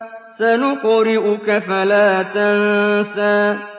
سَنُقْرِئُكَ فَلَا تَنسَىٰ